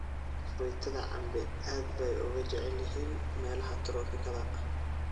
Fruitada cambe aad bay uga jecel yihiin meelaha tropikada.